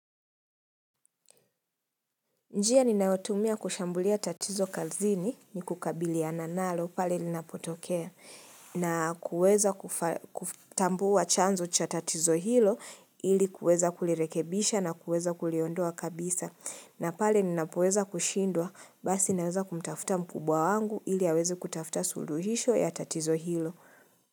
Njia ninaotumia kushambulia tatizo kazini, ni kukabiliana nalo pale linapotokea. Na kuweza kufa kuf tambuwa chanzo cha tatizo hilo, ili kuweza kulirekebisha na kuweza kuliondoa kabisa. Na pale nnapoweza kushindwa, basi naweza kumtafuta mkubwa wangu ili aweze kutafuta suluhisho ya tatizo hilo.